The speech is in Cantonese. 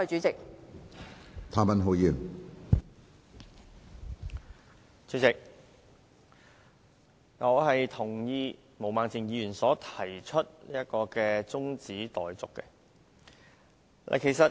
主席，我贊同毛孟靜議員提出的中止待續議案。